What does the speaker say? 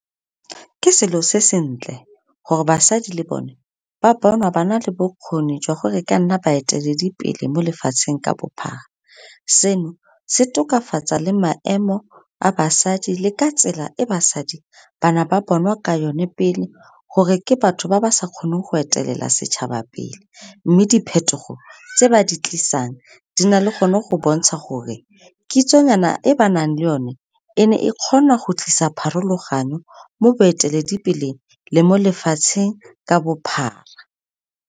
Ke selo se sentle, gore basadi le bone ba bonwa ba na le bokgoni jwa gore ka nna baeteledipele mo lefatsheng ka bophara. Seno, se tokafatsa le maemo a basadi le ka tsela e basadi ba na ba bonwa ka yone pele, gore ke batho ba ba sa kgoneng go etelela setšhaba pele, mme diphetogo tse ba di tlisang, di na le gone go bontsha gore kitsonyana e ba nang le o ne, e ne e kgona go tlisa pharologanyo mo boeteledipeleng, le mo lefatsheng ka bophara.